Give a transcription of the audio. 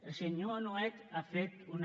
el senyor nuet ha fet una